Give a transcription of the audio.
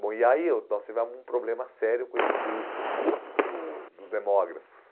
Bom, e aí eu nós tivemos um problema sério com esse grupo do dos demógrafos.